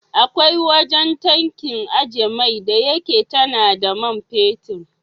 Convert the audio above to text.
Akwai wajan tankin ajjiye mai da yake tana da man fetid